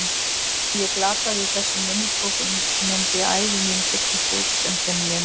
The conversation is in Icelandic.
Ef ég glataði þessum minnisbókum myndi ævi mín þurrkast út sem þeim nemur.